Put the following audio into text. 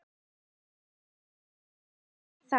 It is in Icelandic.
Klínist fast við það.